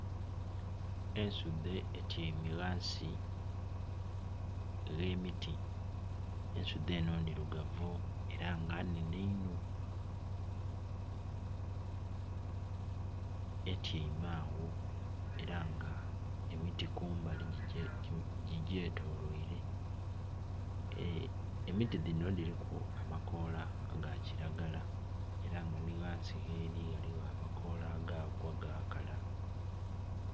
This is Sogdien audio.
Ensudhe etyeime ghansi ghe miti, ensudhe eno ndhirugavu era nga nhenhe inho etyeime agho era nga emiti kumbali gigyetolweire. Emiti dhino dhiriku amakoola aga kiragala era nga ni ghansi gheri ghaligho amakoola agaagwa gakala.